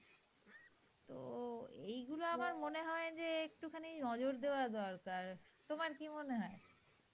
তো এগুলো আমার মনে হয় যে একটু খানি নজর দেওয়া দরকার. তোমার কি মনে হয়?